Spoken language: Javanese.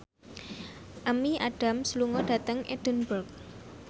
Amy Adams lunga dhateng Edinburgh